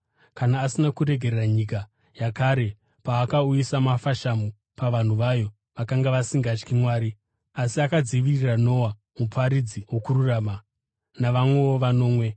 kana asina kuregerera nyika yakare paakauyisa mafashamu pavanhu vayo vakanga vasingatyi Mwari, asi akadzivirira Noa, muparidzi wokururama, navamwewo vanomwe;